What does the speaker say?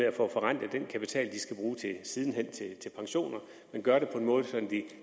at få forrentet den kapital de sidenhen skal bruge til pensioner